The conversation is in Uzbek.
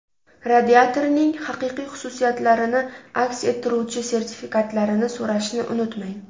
Radiatorning haqiqiy xususiyatlarini aks ettiruvchi sertifikatlarini so‘rashni unutmang.